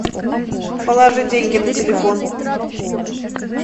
положи деньги на телефон